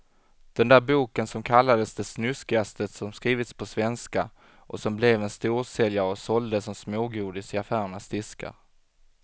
Den där boken som kallades det snuskigaste som skrivits på svenska och som blev en storsäljare och såldes som smågodis i affärernas diskar.